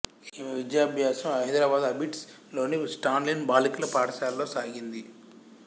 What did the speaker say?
ఈమె విద్యాభ్యాసం హైదరాబాదు అబిడ్స్ లోని స్టాన్లీ బాలికల పాఠశాలలో సాగింది